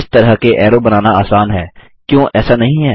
इस तरह के ऐरो बनाना आसान है क्यो ऐसा नहीं है